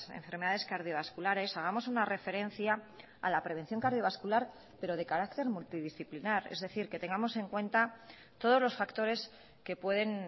enfermedades cardiovasculares hagamos una referencia a la prevención cardiovascular pero de carácter multidisciplinar es decir que tengamos en cuenta todos los factores que pueden